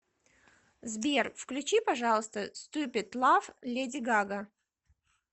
сбер включи пожалуйста ступид лав леди гага